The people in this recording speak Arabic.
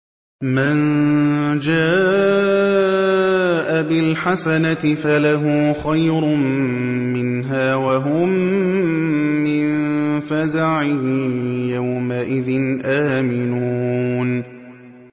مَن جَاءَ بِالْحَسَنَةِ فَلَهُ خَيْرٌ مِّنْهَا وَهُم مِّن فَزَعٍ يَوْمَئِذٍ آمِنُونَ